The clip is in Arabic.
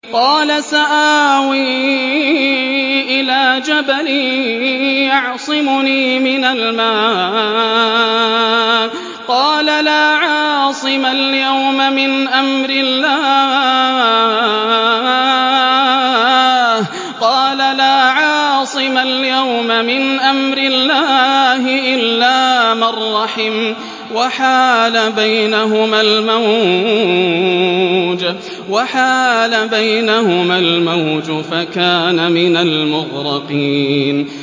قَالَ سَآوِي إِلَىٰ جَبَلٍ يَعْصِمُنِي مِنَ الْمَاءِ ۚ قَالَ لَا عَاصِمَ الْيَوْمَ مِنْ أَمْرِ اللَّهِ إِلَّا مَن رَّحِمَ ۚ وَحَالَ بَيْنَهُمَا الْمَوْجُ فَكَانَ مِنَ الْمُغْرَقِينَ